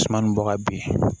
Suman nin bɔ ka bin